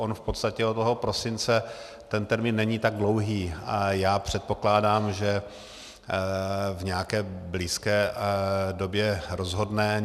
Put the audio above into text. On v podstatě od toho prosince ten termín není tak dlouhý a já předpokládám, že v nějaké blízké době rozhodne.